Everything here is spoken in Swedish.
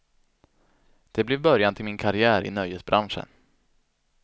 Det blev början till min karriär i nöjesbranschen.